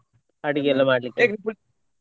ಅಡಿಗೆ ಎಲ್ಲ ಮಾಡ್ಲಿಕ್ಕೆ.